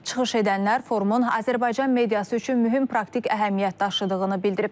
Çıxış edənlər forumun Azərbaycan mediası üçün mühüm praktik əhəmiyyət daşıdığını bildirib.